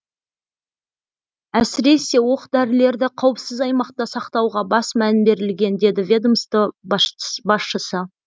әсіресе оқ дәрілерді қауіпсіз аймақта сақтауға баса мән берілген деді ведомство басшысы